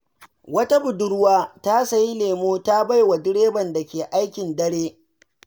Wata budurwa ta sayi lemo ta bai wa direban da ke aikin dare.